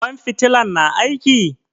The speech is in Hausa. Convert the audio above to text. Ƙwan fitilan na aiki?